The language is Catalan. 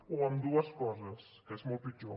o ambdues coses que és molt pitjor